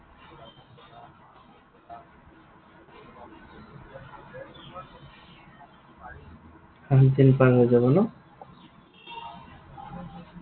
আঠদিন পাৰ হৈ যাব ন?